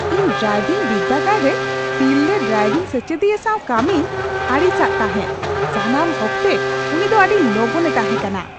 ᱤᱧ ᱰᱨᱟᱭᱵᱷᱤᱝ ᱵᱤᱨᱫᱟᱹᱜᱟᱲ ᱨᱮ ᱛᱤᱨᱞᱟᱹ ᱰᱨᱟᱭᱵᱷᱤᱝ ᱥᱮᱪᱮᱫᱤᱭᱟᱹ ᱥᱟᱶ ᱠᱟᱹᱢᱤᱧ ᱟᱹᱲᱤᱥᱟᱜ ᱛᱟᱦᱮᱫ ᱾ ᱥᱟᱱᱟᱢ ᱚᱠᱛᱮ ᱩᱱᱤ ᱫᱚ ᱟᱹᱰᱤ ᱞᱚᱜᱚᱱ ᱮ ᱛᱟᱦᱮᱸ ᱠᱟᱱᱟ ᱾